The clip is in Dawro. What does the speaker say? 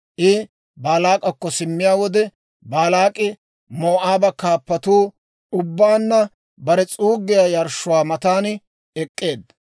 I Baalaak'akko simmiyaa wode, Baalaak'i Moo'aaba kaappatuu ubbaanna bare s'uuggiyaa yarshshuwaa matan ek'k'eedda.